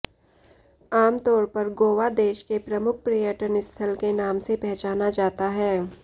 आम तौर पर गोवा देश के प्रमुख पर्यटन स्थल के नाम से पहचाना जाता है